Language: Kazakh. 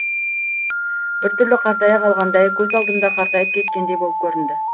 бір түрлі қартая қалғандай көз алдымда қартайып кеткендей болып көрінді